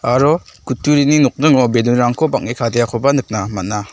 aro kutturini nokningo ballon-rangko bang·e kadeakoba nikna man·a.